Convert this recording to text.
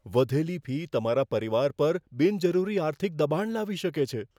વધેલી ફી તમારા પરિવાર પર બિનજરૂરી આર્થિક દબાણ લાવી શકે છે.